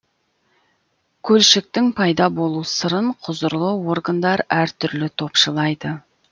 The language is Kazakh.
көлшіктің пайда болу сырын құзырлы органдар әртүрлі топшылайды